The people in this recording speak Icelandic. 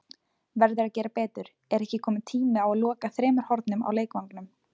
Verður að gera betur: Er ekki kominn tími á að loka þremur hornum á leikvangnum?